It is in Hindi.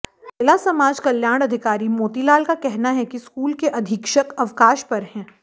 जिला समाज कल्याण अधिकारी मोतीलाल का कहना है कि स्कूल के अधीक्षक अवकाश पर हैं